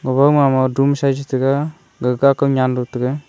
gabowma mama doom sa ye chitaiga gagkakau nyanlo taga.